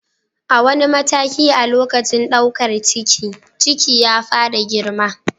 A wani mataki a lokacin ɗaukar ciki, ciki ya fara girma.